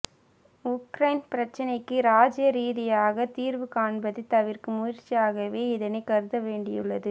Ukraine பிரச்னைக்கு ராஜீய ரீதியாக தீர்வு காண்பதைத் தவிர்க்கும் முயற்சியாகவே இதனைக் கருத வேண்டியுள்ளது